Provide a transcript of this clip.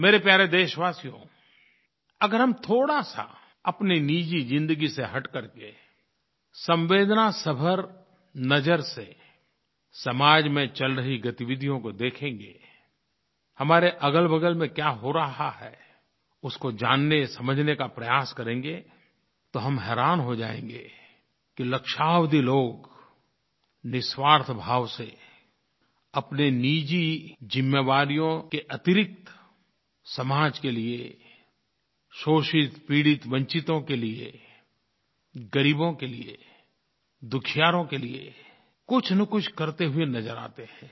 मेरे प्यारे देशवासियो अगर हम थोड़ा सा अपनी निजी ज़िन्दगी से हट करके संवेदनासभर संवेदना से भरी नज़र से समाज में चल रही गतिविधियों को देखेंगें हमारे अगलबगल में क्या हो रहा है उसको जाननेसमझने का प्रयास करेंगे तो हम हैरान हो जाएँगे कि लक्षावधि लोग निस्वार्थ भाव से अपनी निजी ज़िम्मेवारियों के अतिरिक्त समाज के लिये शोषितपीड़ितवंचितों के लिये ग़रीबों के लिये दुखियारों के लिये कुछनकुछ करते हुए नज़र आते हैं